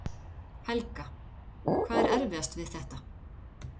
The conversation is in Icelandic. Helga: Hvað er erfiðast við þetta?